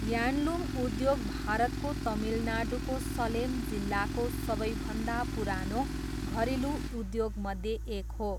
Handloom उद्योग भारतको तमिलनाडुको सलेम जिल्लाको सबैभन्दा पुरानो घरेलु उद्योगमध्ये एक हो।